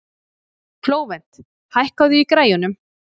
Flóvent, hækkaðu í græjunum.